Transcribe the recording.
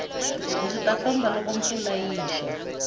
ndzi ta famba loko mpfula yi xa